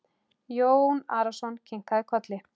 Jón Arason kinkaði kolli.